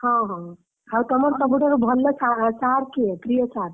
ହଁ ହଁ ଆଉ ତମର ସବୁଠାରୁ ଭଲ sir କିଏ? ପ୍ରିୟ sir ?